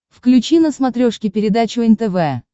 включи на смотрешке передачу нтв